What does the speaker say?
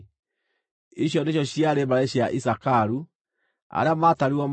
Icio nĩcio ciarĩ mbarĩ cia Isakaru; arĩa maatarirwo maarĩ andũ 64,300.